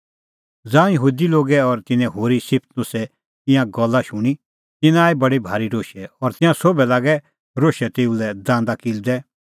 ज़ांऊं यहूदी लोगै और तिन्नैं होरी स्तिफनुसे ईंयां गल्ला शूणीं तिन्नां आई बडी भारी रोशै तिंयां सोभै लागै रोशै तेऊ लै दांदा किल्लदै